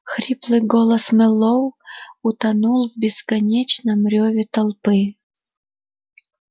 хриплый голос мэллоу утонул в бесконечном рёве толпы